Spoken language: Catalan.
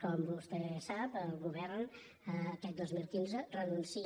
com vostè sap el govern aquest dos mil quinze renuncia